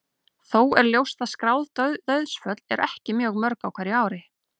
Þó er ljóst að skráð dauðsföll eru ekki mjög mörg á hverju ári.